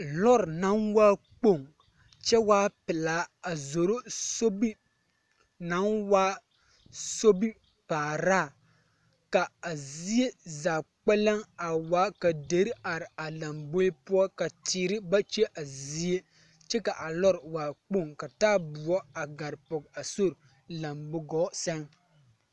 Lɔɔre naŋ waa kpoŋ kyɛ waa pelaa zoro sobiri naŋ waa sobipaaraa ka a zie zaa kpɛlɛŋ a waa ka deri are a lamboe poɔ ka teere ba kye a zie kyɛ ka a lɔɔre waa kloŋ ka taaboɔ a gare pɔge a sori lambo gɔɔ sɛŋ.